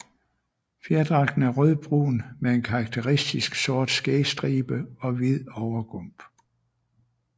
Fjerdragten er rødbrun med en karakteristisk sort skægstribe og hvid overgump